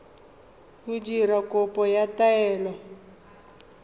go dira kopo ya taelo